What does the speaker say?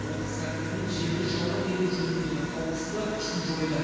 облыс әкімінің жерді жалға беру жөніндегі қаулысы да күшін жойды